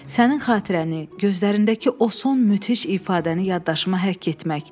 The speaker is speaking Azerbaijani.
Sənin xatirəni, gözlərindəki o son müthiş ifadəni yaddaşıma həkk etdim.